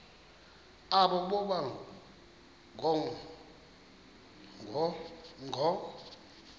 aba boba ngoo